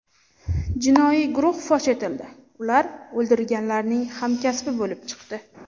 Jinoiy guruh fosh etildi, ular o‘ldirilganlarning hamkasbi bo‘lib chiqdi.